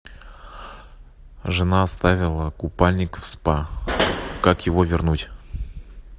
жена оставила купальник в спа как его вернуть